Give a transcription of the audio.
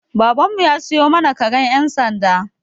Baban mu ya siyo mana karen ƴan sanda.